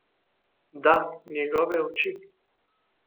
Da, njegove oči.